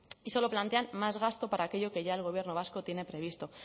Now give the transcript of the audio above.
y solo plantean más gasto para aquello que ya el gobierno vasco tiene previsto